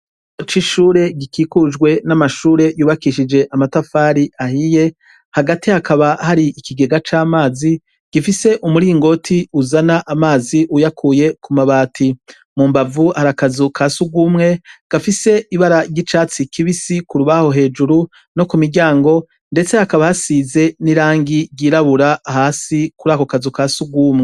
Oco ishure gikikujwe n'amashure yubakishije amatafari ahiye hagati hakaba hari ikigega c'amazi gifise umuringoti uzana amazi uyakuye ku mabati mu mbavu arakazu ka si ugumwe gafise ibara ry'icatsi kibisi ku rubaho hejuru no ku miryango, ndetse hakba basize n'irangi ryirabura hasi kuri ako kazu ka si urwumwe.